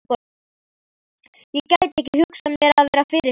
Ég gæti ekki hugsað mér að vera fyrirsæta.